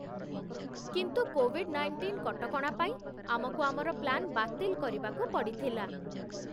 କିନ୍ତୁ COVID nineteen କଟକଣା ପାଇଁ ଆମକୁ ଆମର ପ୍ଲାନ୍ ବାତିଲ୍ କରିବାକୁ ପଡ଼ିଥିଲା ।